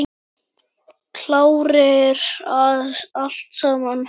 Klárir í allt saman?